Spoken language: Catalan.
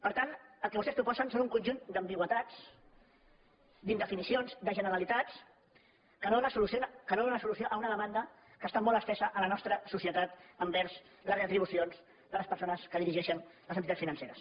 per tant el que vostès proposen són un conjunt d’am·bigüitats d’indefinicions de generalitats que no donen solució a una demanda que està molt estesa a la nostra societat envers les retribucions de les persones que di·rigeixen les entitats financeres